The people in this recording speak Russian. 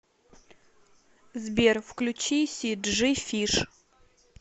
сбер включи си джи фиш